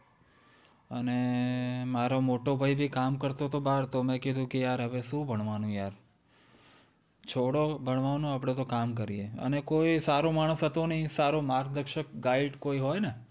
અને મારો મોટોભાઈ ભી કામ કરતો તો બહાર તો મેં કીધું કે યાર હવે શું ભણવાનું યાર! છોડો ભણવાનું આપડે તો કામ કરીએ, અને કોઈ સારો માણસ હતો નહીં. સારો માર્ગદર્શક guide કોઈ હોય ને